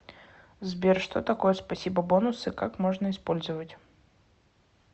сбер что такое спасибо бонусы как можно использовать